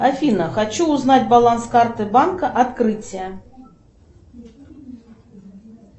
афина хочу узнать баланс карты открытие